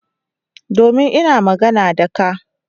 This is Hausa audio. Domin ina magana da ka.